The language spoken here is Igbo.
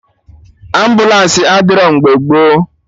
Ambụlansi adịrọ mgbe gboo